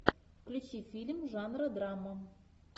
включи фильм жанра драма